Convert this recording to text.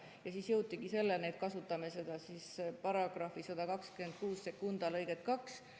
Ja siis jõuti selleni, et kasutame § 1262 lõiget 2.